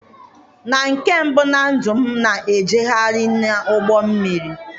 na nke mbụ na ndụ m, m na-ejegharị n'ụgbọ mmiri.